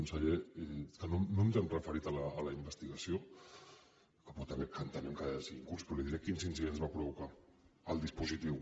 conseller no ens hem referit a la investigació que entenem que ha de seguir un curs però li diré quins incidents va provocar el dispositiu